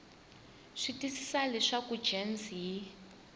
swi twisisa leswaku gems yi